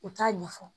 U t'a ɲɛfɔ